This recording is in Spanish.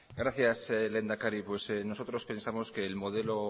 gracias lehendakari nosotros pensamos que el modelo